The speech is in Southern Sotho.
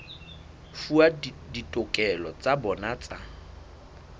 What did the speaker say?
fuwa ditokelo tsa bona tsa